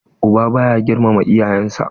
Uba ba ya girmama iyayen sa.